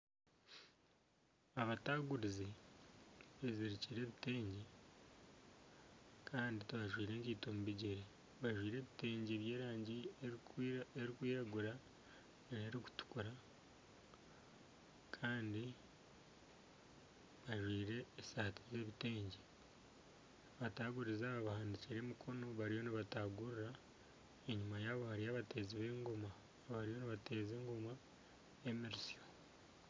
Abataguurizi bezirikire ebitengye Kandi tibajwaire enkaito omu bigyere bajwaire ebitengye byerangi erikwiragura nana erikutukura Kandi bajwaire esaati z'ebitengye abataguurizi aba bahanikire emikono bariyo nibatagurira enyuma yaabo hariyo abateezi b'engoma bariyo nibateeza engoma emirisyo.